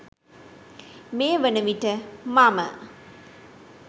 මේ වන විට මම